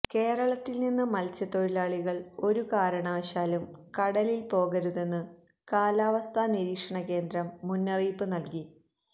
കേരളത്തില് നിന്ന് മത്സ്യത്തൊഴിലാളികള് ഒരു കാരണവശാലും കടലില് പോകരുതെന്ന് കാലാവസ്ഥാ നിരീക്ഷണ കേന്ദ്രം മുന്നറിയിപ്പ് നല്കി